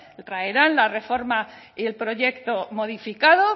traerán la reforma y el proyecto modificado